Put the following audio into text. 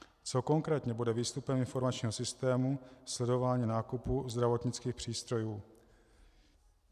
Co konkrétně bude výstupem informačního systému sledování nákupu zdravotnických přístrojů?